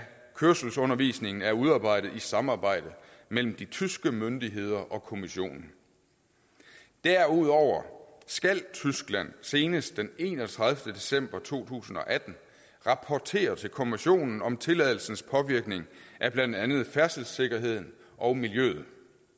kørselsundervisningen er udarbejdet i samarbejde mellem de tyske myndigheder og kommissionen derudover skal tyskland senest den enogtredivete december to tusind og atten rapportere til kommissionen om tilladelsens påvirkning af blandt andet færdselssikkerheden og miljøet